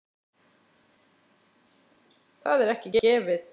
Það er ekki gefið.